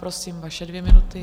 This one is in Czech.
Prosím, vaše dvě minuty.